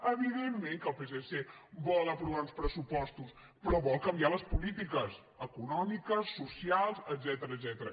evidentment que el psc vol aprovar uns pressupos·tos però vol canviar les polítiques econòmiques so·cials etcètera